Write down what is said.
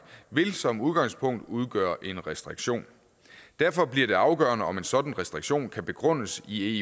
vil som udgangspunkt udgøre en restriktion derfor bliver det afgørende om en sådan restriktion kan begrundes i